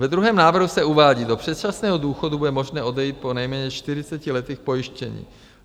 V druhém návrhu se uvádí: Do předčasného důchodu bude možné odejít po nejméně 40 letech pojištění.